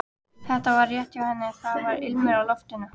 Þetta var rétt hjá henni, það var ilmur í loftinu.